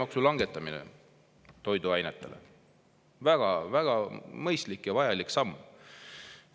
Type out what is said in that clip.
Toiduainete käibemaksu langetamine – väga-väga mõistlik ja vajalik samm.